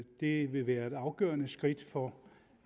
det vil være et afgørende skridt for